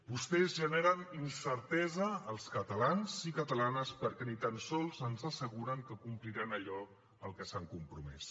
vostès generen incertesa als catalans i catalanes perquè ni tan sols ens asseguren que compliran allò a què s’han compromès